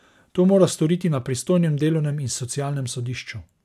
To mora storiti na pristojnem delovnem in socialnem sodišču.